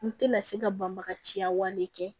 N tɛna se ka banbagaciya wale kɛ